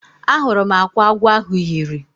Ahụrụ m akwa agwọ ahụ yiri.